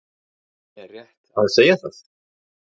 Er rétt að segja það?